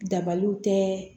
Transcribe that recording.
Dabaliw tɛ